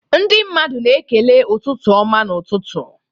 Ndị mmadụ na-ekele ụtụtụ ọma n'ụtụtụ.